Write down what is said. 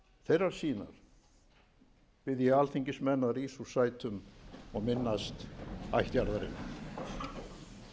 þeirrar sýnar bið ég alþingismenn að rísa úr sætum og minnast ættjarðarinnar strengjakvartett